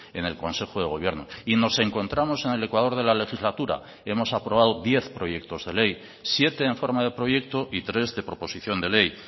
en el consejo de gobierno y nos encontramos en el ecuador de la legislatura hemos aprobado diez proyectos de ley siete en forma de proyecto y tres de proposición de ley